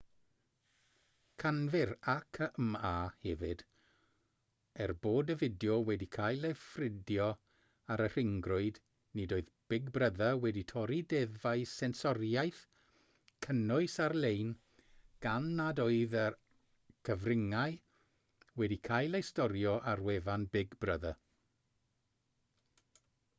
canfu'r acma hefyd er bod y fideo wedi cael ei ffrydio ar y rhyngrwyd nid oedd big brother wedi torri deddfau sensoriaeth cynnwys ar-lein gan nad oedd y cyfryngau wedi cael eu storio ar wefan big brother